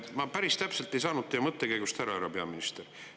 Ma päris täpselt ei saanud teie mõttekäigust aru, härra peaminister.